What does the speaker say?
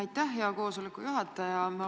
Aitäh, hea koosoleku juhataja!